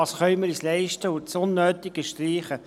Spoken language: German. Wir kommen zu den Einzelsprechern.